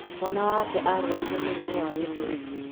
Mwana wake arwarire mũrimũ wa gĩthũri.